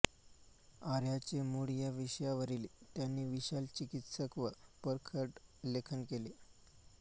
आर्यांचे मूळ या विषयावरील त्यानी विशाल चिकित्सक व परखड लेखन केले आहे